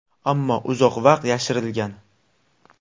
Ammo uzoq vaqt yashirilgan.